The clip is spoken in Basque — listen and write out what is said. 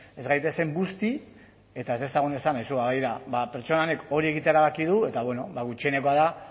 ez gaitezen busti eta ez dezagun esan aizu ba begira ba pertsona honek hori egitea erabaki du eta bueno gutxienekoa da